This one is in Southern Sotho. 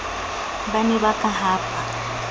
ba ne ba ka hapa